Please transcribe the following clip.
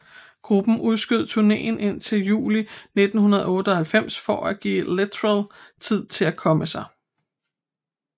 Gruppen udskød turnéen indtil juli 1998 for at give Littrell tid til at komme sig